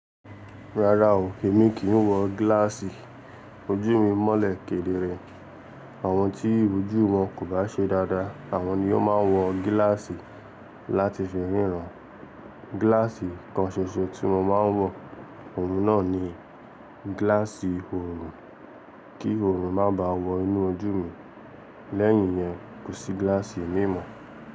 Rárá o, èmi kì ń wọ gíláàsì. Ojú mi mọ́lẹ̀ kedere. Àwọn tí ojú wọn kò bá ṣe dáadáa, àwọn ni ò máa ń wọ gíláàsì láti fi ríran. Gíláàsì kan ṣoṣo tí mo máa ń wọ, òun náà ni gíláàsì òòrùn, kí òòrùn má bà wọ inú ojú mi. Lẹ́yìn yẹn, kò sí gíláàsì mi mọ̀.